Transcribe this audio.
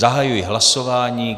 Zahajuji hlasování.